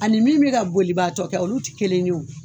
Ani min bɛ ka bolibaatɔ kɛ olu tɛ kelen ye o